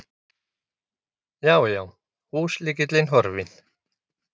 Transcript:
Já, já, húslykillinn horfinn!